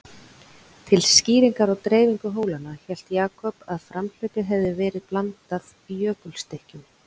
Til skýringar á dreifingu hólanna, hélt Jakob að framhlaupið hefði verið blandað jökulstykkjum.